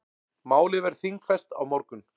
Málið verður þingfest á morgun.